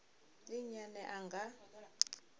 ndi nnyi ane a nga